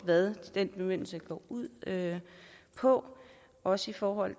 hvad den bemyndigelse går ud på også i forhold